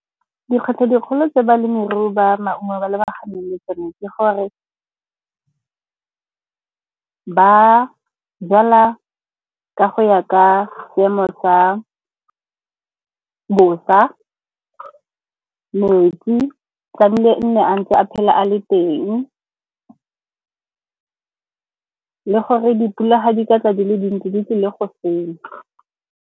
Dikgwetlho tse dikgolo tse balemirui ba maungo ba lebaganeng le tsone ke gore ba jala ka go ya ka seemo sa bosa, metsi tlamehile e nne a ntse a phele a le teng le gore dipula di ka tla di le dintsi, di tlile go senya.